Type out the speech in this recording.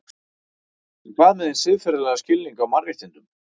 En hvað með hinn siðferðilega skilning á mannréttindum?